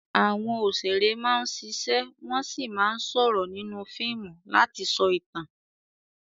Àwọn òṣèré máa ń ṣiṣẹ́ wọ́n sì máa ń sọ̀rọ̀ nínú fíìmù láti sọ ìtàn.